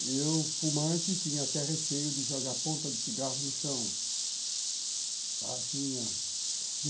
Eu, fumante, tinha até receio de jogar ponta de cigarro no chão, tá, tinha.